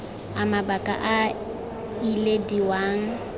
a mabaka a a ilediwang